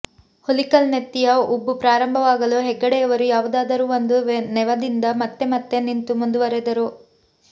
ಹುಲಿಕಲ್ ನೆತ್ತಿಯ ಉಬ್ಬು ಪ್ರಾರಂಭವಾಗಲು ಹೆಗ್ಗಡೆಯವರು ಯಾವುದಾದರೂ ಒಂದು ನೆವದಿಂದ ಮತ್ತೆ ಮತ್ತೆ ನಿಂತು ಮುಂದುವರಿದರು